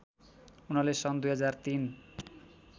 उनले सन् २००३